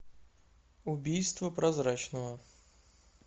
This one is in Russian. убийство прозрачного